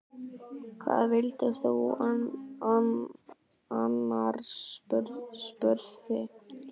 Hvað vildir þú annars? spurði Geir.